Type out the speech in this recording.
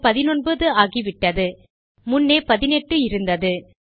அது 19 ஆகிவிட்டது முன்னே 18 இருந்தது